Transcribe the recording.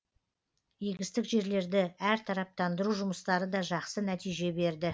егістік жерлерді әртараптандыру жұмыстары да жақсы нәтиже берді